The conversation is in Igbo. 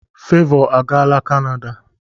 Fevo agaala kanada.